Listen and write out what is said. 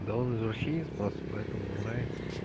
да он извращенец просто поэтому ему нравится